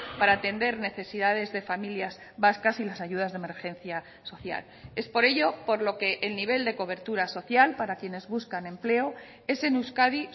para atender necesidades de familias vascas y las ayudas de emergencia social es por ello por lo que el nivel de cobertura social para quienes buscan empleo es en euskadi